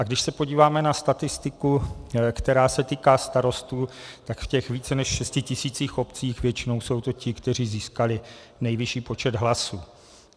A když se podíváme na statistiku, která se týká starostů, tak v těch více než 6 000 obcí většinou jsou to ti, kteří získali nejvyšší počet hlasů.